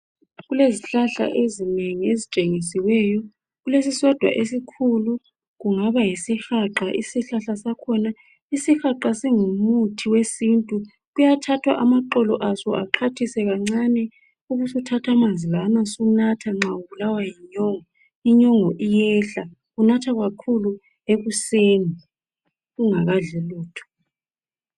Kulezihlahla ezinengi ezitshengisweyo, kulesisodwa esikhulu esiyihlahla sesihaqa, isihaqa singumuthi kuyathathwa amaxolo exhwathiswe ayiwo angumuthi ehlise inyongo kunathwa kakhulu ekuseni.